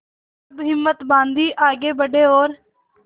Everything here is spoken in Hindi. तब हिम्मत बॉँधी आगे बड़े और